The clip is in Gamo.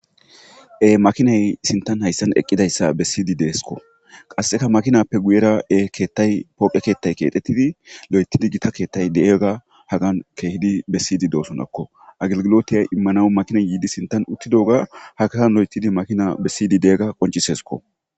e makinay sintan hayssan eqqidayssa bessiydi deeskko qasseka makinappe guyera e keettay pooqe keettay keexettidi lo7etidi gita keettay de7ega hagan keehidi bessiydi doosonakko agilgilotiyay immana makinay yiidi sintan uttido ga hakatan lo7etidi makina bessiydi de7egga qoncisesko